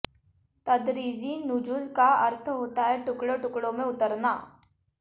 तदरीजी नुज़ूल का अर्थ होता है टुकड़ों टुकड़ों में उतरना